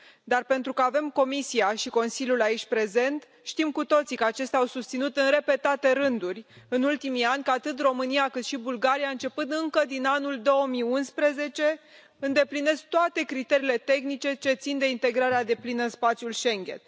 Dar pentru că avem Comisia și Consiliul aici prezente, știm cu toții că acestea au susținut în repetate rânduri în ultimii ani că atât România, cât și Bulgaria, începând încă din anul 2011, îndeplinesc toate criteriile tehnice ce țin de integrarea deplină în spațiul Schengen.